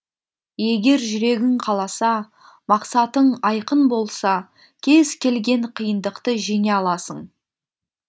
егер жүрегің қаласа мақсатың айқын болса кез келген қиындықты жеңе аласың